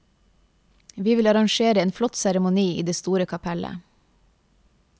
Vi vil arrangere en flott seremoni i det store kapellet.